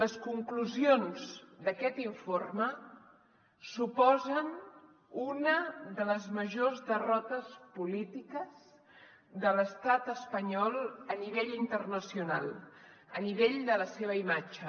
les conclusions d’aquest informe suposen una de les majors derrotes polítiques de l’estat espanyol a nivell internacional a nivell de la seva imatge